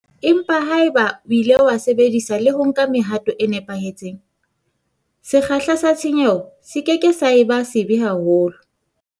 Empa haeba o ile wa sebedisa le ho nka mehato e nepahetseng, sekgahla sa tshenyo se ke ke sa eba sebe haholo.